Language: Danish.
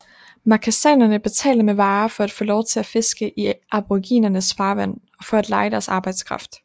Makassanerne betalte med varer for at få lov til at fiske i aboriginernes farvand og for at leje deres arbejdskraft